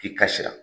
K'i kasira